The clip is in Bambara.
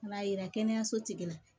Ka n'a yira kɛnɛyaso tigila